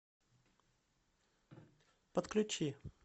подключи